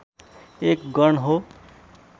एक गण हो